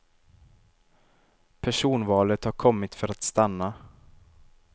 Personvalet har kommit för att stanna.